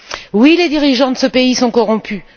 Oui, les dirigeants de ce pays sont corrompus.